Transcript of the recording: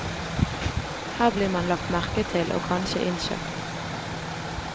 Her blir man lagt merke til og kanskje innkjøpt.